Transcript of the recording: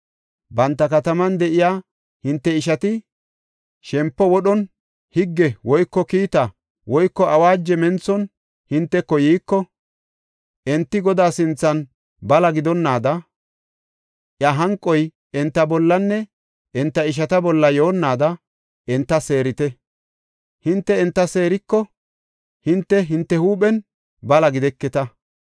Banta kataman de7iya hinte ishati shempo wodhon, higge woyko kiita woyko awaajo menthon hinteko yiiko, enti Godaa sinthan bala gidonnaada, iya hanqoy hinte bollanne hinte ishata bolla yoonnaada enta seerite. Hinte enta seeriko hinte hinte huuphen bala gideketa.